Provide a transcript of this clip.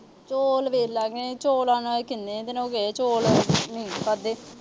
ਚੌਲ ਵੇਖ ਲਾਂਗੇ। ਚੌਲਾਂ ਨਾਲ ਈ ਕਹਿੰਦੇ ਆ ਇਹਦੇ ਨਾਲ ਚੌਲ ਨੀ ਖਾਦੇ।